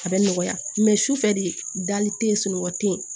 A bɛ nɔgɔya sufɛ de dali tɛ ye sunɔgɔ tɛ yen